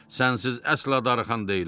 Sənsiz əsla darıxan deyiləm.